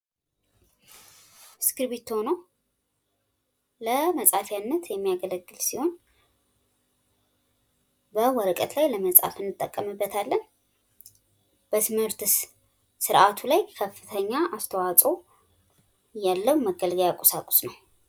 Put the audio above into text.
እስኪርብቶ ነው ፤ ለመጻፊያነት የሚያገለግል ሲሆን በወረቀት ላይ ለመጻፍ እንጠቀምበታለን፡፡ በትምህርት ስርአቱ ላይ ከፍተኛ አስተዋጾ ያለው መገልገያ ቁሳቁስ ነው፡፡